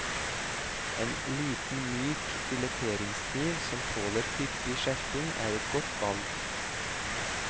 En liten myk fileteringskniv som tåler hyppig skjerping er et godt valg.